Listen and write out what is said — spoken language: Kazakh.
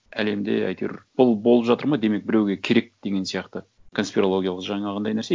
әлемде әйтеуір бұл болып жатыр ма демек біреуге керек деген сияқты конспирологиялық жаңағындай нәрсе